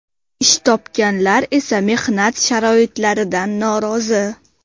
Ish topganlar esa mehnat sharoitlaridan norozi.